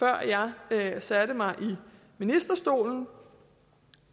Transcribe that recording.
jeg satte mig i ministerstolen